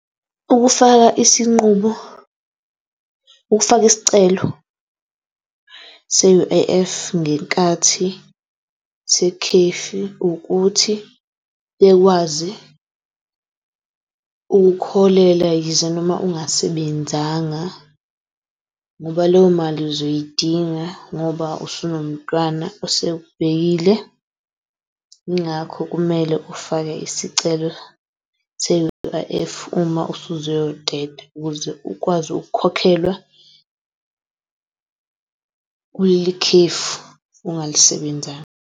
Ukufaka isinqumo, ukufaka isicelo se-U_I_F ngenkathi se- ukuthi bekwazi ukukholela yize noma ungasebenzanga ngoba leyo mali uzoyidinga ngoba usuno mntwana osekubhekile yingakho kumele ufake isicelo se-U_I_F uma usuzoyoteta ukuze ukwazi ukukhokhelwa kuleli khefu ungalisebenzanga.